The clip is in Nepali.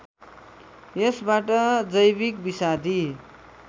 यसबाट जैविक विषादी